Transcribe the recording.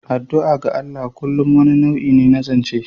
Addu'a ga Allah kullum wani nau'i ne na zance.